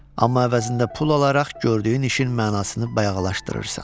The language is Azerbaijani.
Amma əvəzində pul alaraq gördüyün işin mənasını bayağılaşdırırsan.